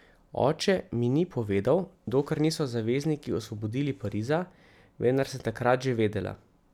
Oče mi ni povedal, dokler niso zavezniki osvobodili Pariza, vendar sem takrat že vedela.